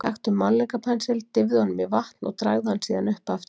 Taktu málningarpensil, dýfðu honum í vatn og dragðu hann síðan upp aftur.